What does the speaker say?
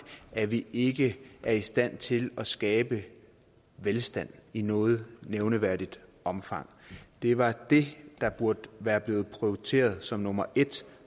at vi ikke er i stand til at skabe velstand i noget nævneværdigt omfang det var det der burde være blevet prioriteret som nummer et